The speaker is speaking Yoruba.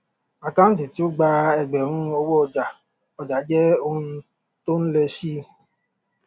àkántì tí ó gba ẹgbẹrún owó ọjà ọjà jẹ oun tó n lẹ síi